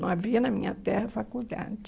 Não havia na minha terra faculdade.